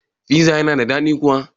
Piza yana da dadi kuwa?